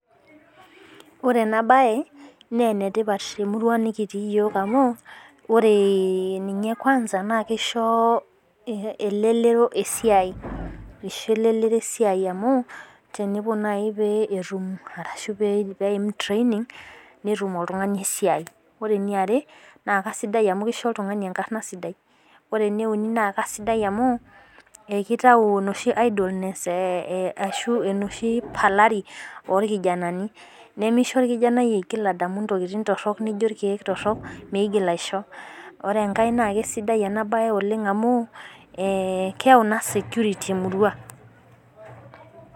Ore ena bae naa ene tipat tee murua nikitii iyiok amuu ore ninye kwanza naa kisho elelero esidai aisho elelero esidai amuu tenepuo najii pee etum ashu peepuo training netu. Oltung'ani esiai. Ore ena are naa kaisidai amu kisho oltung'anai enkarna sidia. Ore Ene uni naa kaisidai amu kiitau enoshi idolness ee Ashu enoshi palari oo irkijanani nemisho irkijanani eigil adamu intokitin torok nijo irkeek torok meigil aisho. Ore enkar naa kaisidai ena bae oleng'amu keyau naa security ee murua.